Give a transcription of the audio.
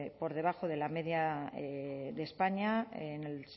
por debajo de la media de españa en el